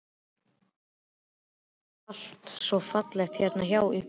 Alltaf allt svo fallegt hérna hjá ykkur.